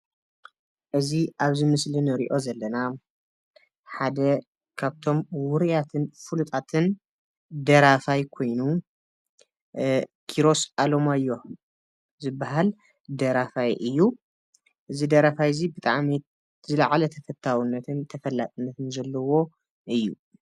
እዚ ኣብዚ ምስሊ ንሪኦ ዘለና ሓደ ካብቶም ዉሩያትን ፍሉጣትን ደራፋይ ኮይኑ ኪሮስ ኣለማዮህ ዝብሃል ደራፋይ እዩ። እዚ ደራፋይ እዚ ብጣዕሚ ዝልዓለ ተፈታዉነትን ተፈላጥነትን ዘለዎ እዩ።